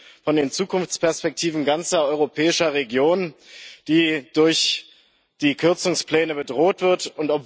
Wir reden von den Zukunftsperspektiven ganzer europäischer Regionen, die durch die Kürzungspläne bedroht werden.